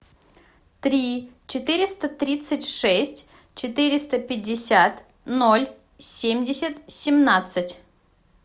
три четыреста тридцать шесть четыреста пятьдесят ноль семьдесят семнадцать